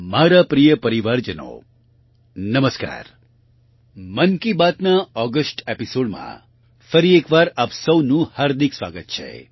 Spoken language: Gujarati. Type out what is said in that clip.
મારા પ્રિય પરિવારજનો નમસ્કાર મન કી બાતના ઓગસ્ટ એપિસોડમાં ફરી એકવાર આપ સૌનું હાર્દિક સ્વાગત છે